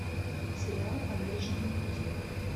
сериал по млечному пути